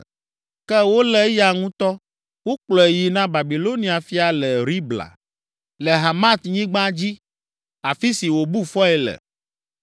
Ke wolé eya ŋutɔ. Wokplɔe yi na Babilonia fia le Ribla, le Hamatnyigba dzi, afi si wòbu fɔe le.